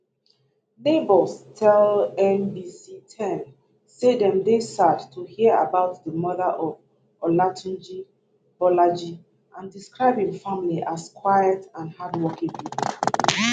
neighbors tell nbc10 say dem dey sad to hear about di murder of olatunji bolaji and describe im family as quiet and hardworking pipo